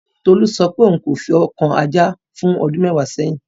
Tolú sọ pé òun kò fi ọwọ́ kan Ajá fún ọdún mẹ́wàá sẹ́yìn